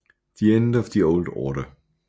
The End of the Old Order